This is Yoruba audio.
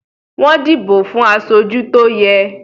Wọ́n dìbò fún aṣojú tó yẹ